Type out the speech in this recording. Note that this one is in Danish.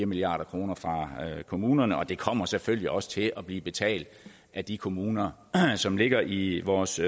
milliard kroner fra kommunerne og det kommer selvfølgelig også til at blive betalt af de kommuner som ligger i vores